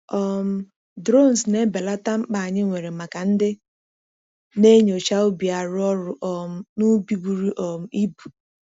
um Drones na-ebelata mkpa anyị nwere maka ndị na-enyocha ubi arụ ọrụ um n’ubi buru um ibu.